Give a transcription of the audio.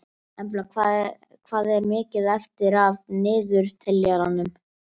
Embla, hvað er mikið eftir af niðurteljaranum?